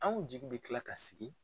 Anw jigi bɛ kila ka sigi.